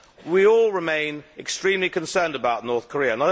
We all remain extremely concerned about North Korea.